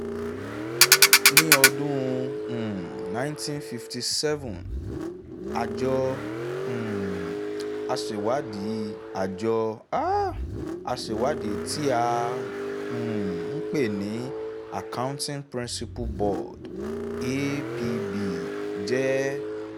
ni ọdún um nineteen fifty seven àjọ um aṣèwádìí àjọ um aṣèwádìí tí à um ń pè ní accouting principles board (apb) jẹ́